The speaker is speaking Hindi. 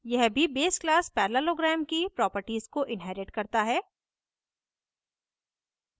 यह भी base class parallelogram की properties को inherits करता है